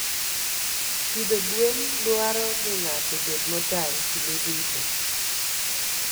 Pidho gwen dwaro ni ng'ato obed motang' kinde duto.